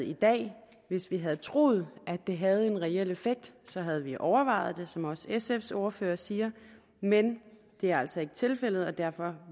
i dag hvis vi havde troet at det havde en reel effekt så havde vi overvejet det som også sfs ordfører siger men det er altså ikke tilfældet og derfor